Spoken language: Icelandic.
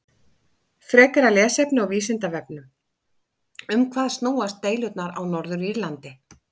Frekara lesefni á Vísindavefnum: Um hvað snúast deilurnar á Norður-Írlandi?